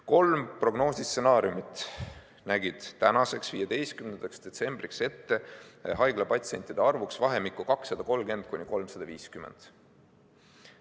Kolm prognoosistsenaariumit nägid tänaseks, 15. detsembriks ette haiglapatsientide arvu vahemikus 230–350.